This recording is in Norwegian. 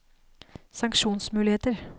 sanksjonsmuligheter